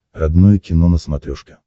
родное кино на смотрешке